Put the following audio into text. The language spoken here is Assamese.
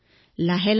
প্ৰতিদিনেই বেঙেনা